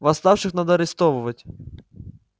восставших надо арестовывать